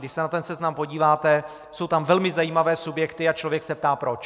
Když se na ten seznam podíváte, jsou tam velmi zajímavé subjekty a člověk se ptá proč.